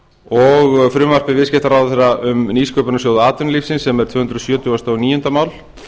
og frumvarpi viðskiptaráðherra um nýsköpunarsjóð atvinnulífsins sem er tvö hundruð sjötugasta og níunda mál